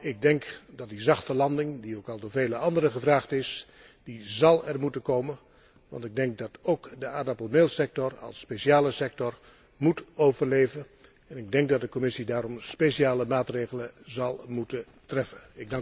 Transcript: Ik denk dat die zachte landing die ook al door vele anderen gevraagd is, dat die er zal moeten komen, want ik denk dat ook de aardappelmeelsector als speciale sector moet overleven. Ik denk dat de Commissie daarom speciale maatregelen zal moeten treffen.